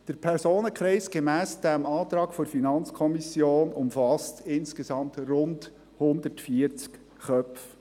Der Personenkreis, gemäss diesem Antrag der FiKo, umfasst rund 140 Köpfe.